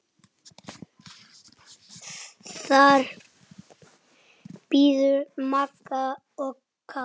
Þar biðu Magga og Kata.